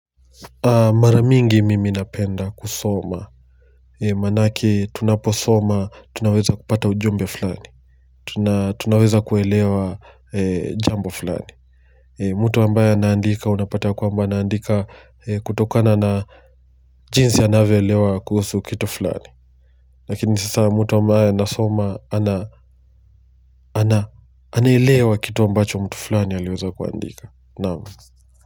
Mara mingi mimi napenda kusoma manake tunaposoma tunaweza kupata ujumbe flani tunaweza kuelewa jambo flani mtu ambaye anaandika unapata ya kwamba anaandika kutokana na jinsi anavyoelewa kuhusu kitu fulani lakini sasa mtu ambaye anasoma ana anailewa kitu ambacho mtu flani aliweza kuandika.